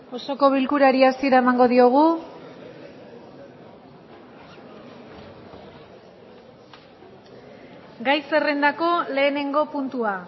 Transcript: osoko bilkurari hasiera emango diogu gai zerrendako lehenengo puntua